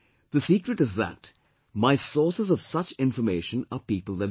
The secret is that my sources of such information are people themselves